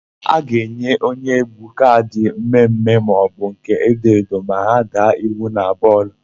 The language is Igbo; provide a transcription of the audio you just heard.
A ga-enye onyeégwú kaadị mmemme maọbụ nke edoedo ma ha daa iwu na bọọlụ.